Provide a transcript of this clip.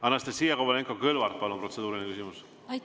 Anastassia Kovalenko-Kõlvart, palun, protseduuriline küsimus!